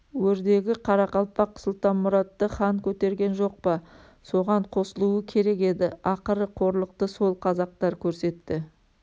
өрдегі қарақалпақ сұлтанмұратты хан көтерген жоқ па соған қосылуы керек еді ақыры қорлықты сол қазақтар көрсетті